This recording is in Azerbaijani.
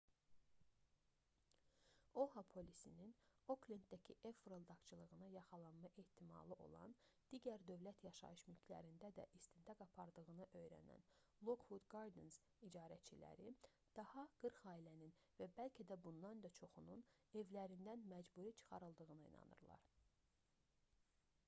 oha polisinin oklenddəki ev fırıldaqçılığına yaxalanma ehtimalı olan digər dövlət yaşayış mülklərində də istintaq apardığını öyrənən lockwood gardens icarəçiləri daha 40 ailənin və bəlkə də bundan da çoxunun evlərindən məcburi çıxarıldığına inanırlar